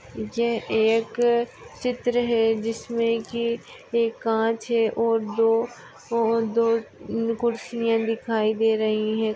जे एक चित्र है जिसमे कि एक कांच है और दो और दो दो कुर्सिया दिखाई दे रही है।